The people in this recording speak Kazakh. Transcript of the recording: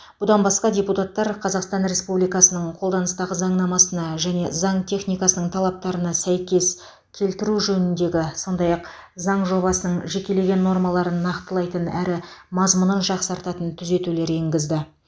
бұдан басқа депутаттар қазақстан республикасының қолданыстағы заңнамасына және заң техникасының талаптарына сәйкес келтіру жөніндегі сондай ақ заң жобасының жекелеген нормаларын нақтылайтын әрі мазмұнын жақсартатын түзетулер енгізді